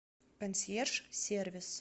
консьерж сервис